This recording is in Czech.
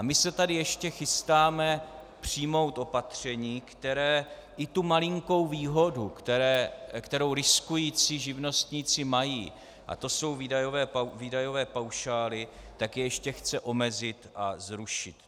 A my se tady ještě chystáme přijmout opatření, které i tu malinkou výhodu, kterou riskující živnostníci mají, a to jsou výdajové paušály, tak je ještě chce omezit a zrušit.